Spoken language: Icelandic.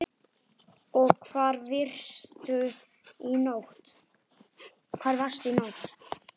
Og hvar varstu í nótt?